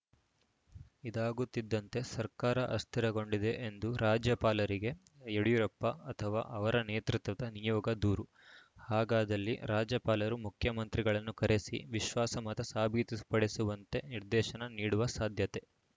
ಇದಾಗುತ್ತಿದ್ದಂತೆ ಸರ್ಕಾರ ಅಸ್ಥಿರಗೊಂಡಿದೆ ಎಂದು ರಾಜ್ಯಪಾಲರಿಗೆ ಯಡಿಯೂರಪ್ಪ ಅಥವಾ ಅವರ ನೇತೃತ್ವದ ನಿಯೋಗ ದೂರು ಹಾಗಾದಲ್ಲಿ ರಾಜ್ಯಪಾಲರು ಮುಖ್ಯಮಂತ್ರಿಗಳನ್ನು ಕರೆಸಿ ವಿಶ್ವಾಸಮತ ಸಾಬೀತುಪಡಿಸುವಂತೆ ನಿರ್ದೇಶನ ನೀಡುವ ಸಾಧ್ಯತೆ